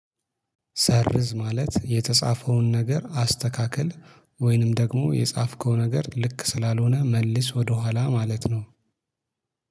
ሰርዝ ማለት የተጻፈውን ነገር አስተካክል ወይንም ደግሞ የጻፍከው ነገር ልክ ስላልሆነ መልስ ወደኋላ ማለት ነው።